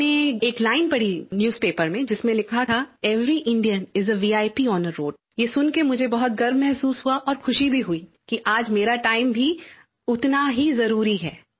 मैंने एक लाइन पढ़ी न्यूज़पेपर में जिसमें लिखा था every Indian is a VIP on a road ये सुन के मुझे बहुत गर्व महसूस हुआ और खुशी भी हुई कि आज मेरा टाइम भी उतना ही ज़रूरी है